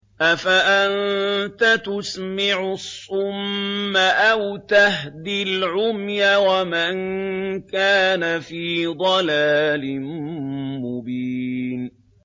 أَفَأَنتَ تُسْمِعُ الصُّمَّ أَوْ تَهْدِي الْعُمْيَ وَمَن كَانَ فِي ضَلَالٍ مُّبِينٍ